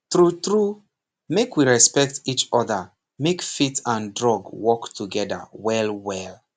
trrue true make we respect each other make faith and drug work together well well